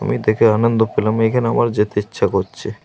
আমি দেখে আনন্দ পেলাম। এখানে আমার যেতে ইচ্ছা করছে।